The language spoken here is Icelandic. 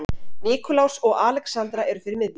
Nikulás og Alexandra eru fyrir miðju.